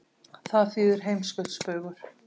Það þýðir heimskautsbaugur.